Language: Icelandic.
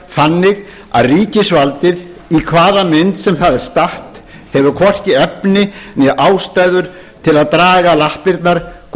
þannig að ríkisvaldið í hvaða mynd sem það er statt hefur hvorki efni né ástæður til að draga lappirnar hvað